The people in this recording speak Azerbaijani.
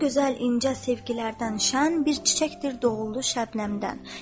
O gözəl incə sevgilərdən şən bir çiçəkdir, doğuldu şəbnəmdən.